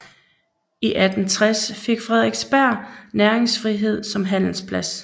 I 1860 fik Frederiksberg næringsfrihed som handelsplads